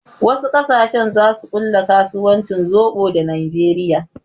Wasu ƙasashen zasu ƙulla kasuwancin zoɓo da najeriya